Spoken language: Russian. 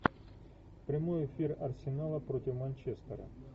прямой эфир арсенала против манчестера